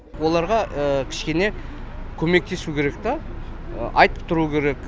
оларға кішкене көмектесу керек та айтып тұру керек